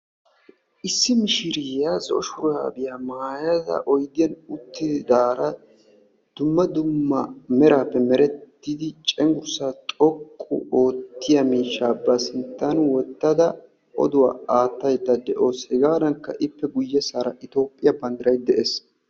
Issi mishiriya zo'o shuraabiyaa maayada oydiyaani uttidara dumma dumma meraappe merettidi cengurssa xoqqu oottiya miishsha ba sinttan wottadda oduwaa aattayda de'assu, hegadanikka ippe guyessara Itophphiyaa bandiray de'es.